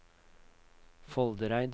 Foldereid